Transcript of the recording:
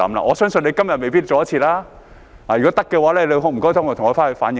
我相信他今天未必趕得及；如果可以，請你回去替我反映。